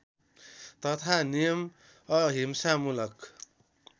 तथा नियम अहिंसामूलक